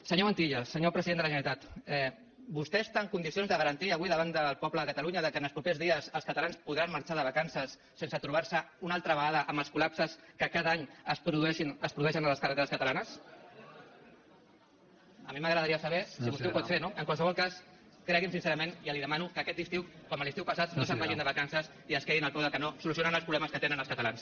senyor montilla senyor president de la generalitat vostè està en condicions de garantir avui davant del poble de catalunya que en els propers dies els catalans podran marxar de vacances sense trobar se una altra vegada amb els col·lapses que cada any es produeixen a les carreteres catalanes a mi m’agradaria saber si vostè ho pot fer no en qualsevol cas cregui’m sincerament ja li ho demano que aquest estiu com l’estiu passat no se’n vagin de vacances i quedin se al peu del canó solucionant els problemes que tenen els catalans